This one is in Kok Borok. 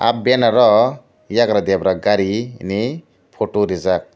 aww benner ow eiagra debra gari henai photo reejak.